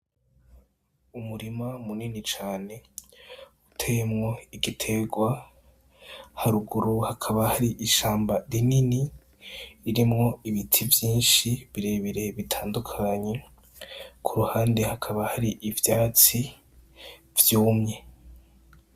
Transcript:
Umurima munini cane uteyemwo igiterwa. Haruguru hakaba hari ishamba rinini ririmwo ibiti vyinshi birebire bitandukanye, ku ruhande hakaba hari ivyatsi vyumye.